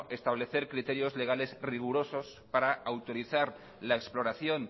establecer criterios legales rigurosos para autorizar la exploración